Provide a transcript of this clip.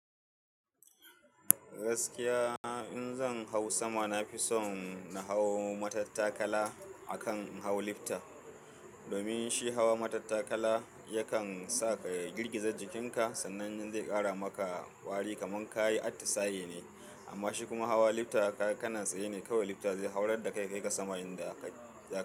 Gaskiya in zan hau sama, nafison na hau matattakala akan in hau lifta. Domin shi hawa matattakala yakan sa ka girgiza jikin ka sannan zai ƙara maka ƙwari kamar kayi atisai ne amma shi kuma hawa lifta kana tsaye ne kawai lifta zai haurar da kai kaiƙa sama idan ka zaƙi.